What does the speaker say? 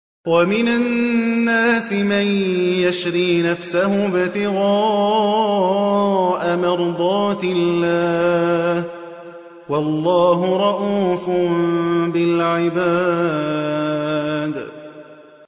وَمِنَ النَّاسِ مَن يَشْرِي نَفْسَهُ ابْتِغَاءَ مَرْضَاتِ اللَّهِ ۗ وَاللَّهُ رَءُوفٌ بِالْعِبَادِ